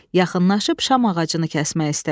Yaxınlaşıb şam ağacını kəsmək istədi.